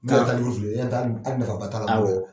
awɔ.